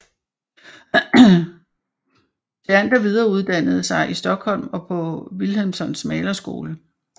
Theander videreuddannede sig i Stockholm og på Wilhelmssons malerskole